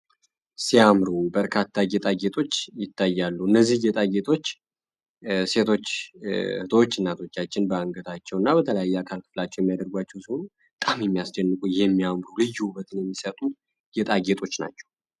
ሲያምሩ በጣም ደስ የሚሉ ጌጣጌጦች በምስሉ ላይ ይታያሉ እነዚህ ጌጣጌጦች እናቶች ሴቶች እናቶቻችን በአንገታቸው እና በተለያየ አካላችን ያድርጓል ናቸው